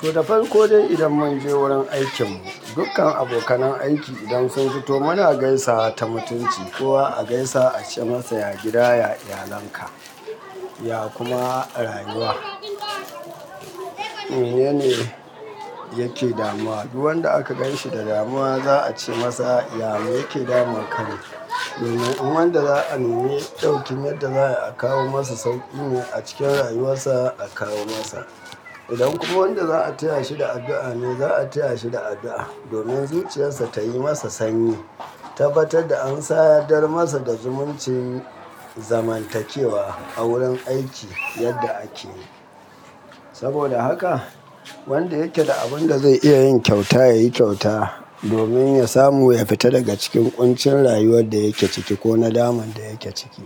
To, da farko dai, idan mun je wurin aikin mu, dukkan abokanan aiki idan sun fito muna gaisawa ta mutunci kowa a gaisa a ce masa "ya gida", "ya iyalanka", ya kuma rayuwa. Menene yake damuwa. Duk wanda aka ganshi da damuwa, za'a ce masa "ya me yake daman ka". Domin in wanda za'a neme daukin yadda za'a kawo masa sauƙi ne a cikin rayuwar sa a kawo masa. Idan kuma wanda za'a taya shi da addu'a ne, za'a taya shi da addu'a domin zuciyar sa ta yi masa sanyi. Tabbatar da an sadar masa da zumuncin zamantakewa a wurin aiki, yadda akeyi. Saboda haka, wanda yake da abun da zai iya yin kyauta ya yi kyauta domin ya samu ya fita daga cikin ƙuncin rayuwar da yake ciki ko na daman da yake ciki.